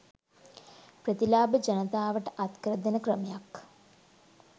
ප්‍රතිලාභ ජනතාවට අත් කරදෙන ක්‍රමයක්